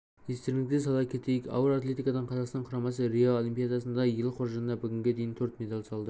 естеріңізге сала кетейік ауыр атлетикадан қазақстан құрамасы рио олимпиадасында ел қоржынына бүгінге дейін төрт медаль салды